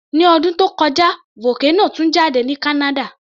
Ní ọdún tó kọjá, vocano tú jáde ní Canada